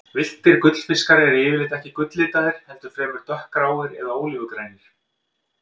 Villtir gullfiskar eru yfirleitt ekki gulllitaðir, heldur fremur dökkgráir eða ólífugrænir.